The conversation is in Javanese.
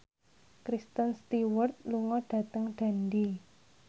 Kristen Stewart lunga dhateng Dundee